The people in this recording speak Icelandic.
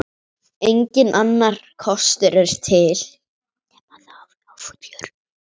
Enginn annar kostur er til.